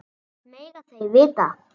Það mega þeir vita.